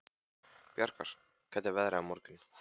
Bjargar, hvernig er veðrið á morgun?